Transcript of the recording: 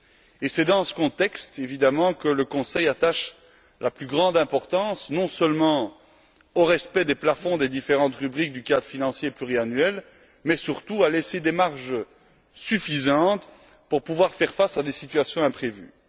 Et c'est dans ce contexte que le Conseil attache la plus grande importance non seulement au respect des plafonds des différentes rubriques du cadre financier pluriannuel mais surtout au maintien de marges suffisantes pour pouvoir faire face à des situations imprévues.